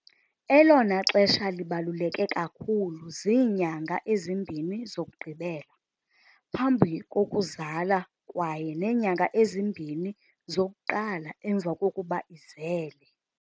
Elona xesha libaluleke kakhulu ziinyanga ezimbini zokugqibela phambi kokuzala kwaye neenyanga ezi-2 zokuqala emva kokuba izele.